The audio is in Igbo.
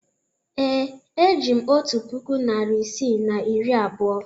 Ee, eji m otu puku naịra isii na iri abụọ.